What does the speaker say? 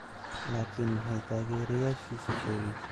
Laakiin maxay taageerayaashiisa sheegeen?